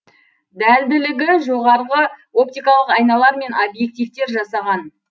дәлділігі жоғарғы оптикалық айналар мен объективтер жасаған